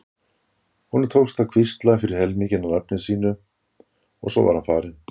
Honum tókst að hvísla fyrri helminginn af nafninu mínu og svo var hann farinn.